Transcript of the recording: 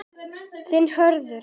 Þinn Hörður.